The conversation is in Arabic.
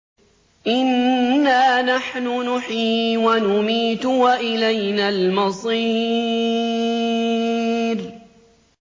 إِنَّا نَحْنُ نُحْيِي وَنُمِيتُ وَإِلَيْنَا الْمَصِيرُ